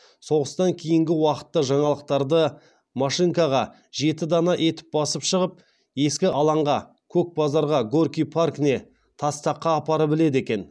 соғыстан кейінгі уақытта жаңалықтарды машинкаға жеті дана етіп басып шығып ескі алаңға көк базарға горький паркіне тастаққа апарып іледі екен